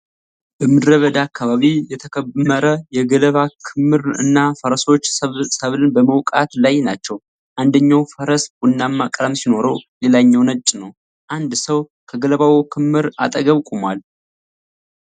በምድረ በዳ አካባቢ የተከመረ የገለባ ክምር እና ፈረሶች ሰብልን በመውቃት ላይ ናቸው። አንደኛው ፈረስ ቡናማ ቀለም ሲኖረው ሌላኛው ነጭ ነው። አንድ ሰው ከገለባው ክምር አጠገብ ቆሟል።